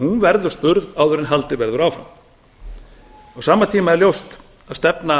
hún verði spurð áður en haldið verður áfram á sama tíma er ljóst að stefna